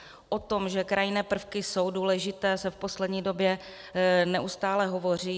O tom, že krajinné prvky jsou důležité, se v poslední době neustále hovoří.